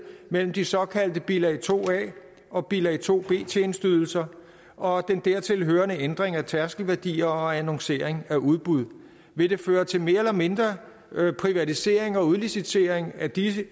mellem de såkaldte bilag to a og bilag to b tjenesteydelser og den dertil hørende ændring af tærskelværdier og annoncering af udbud vil det føre til mere eller mindre privatisering og udlicitering af disse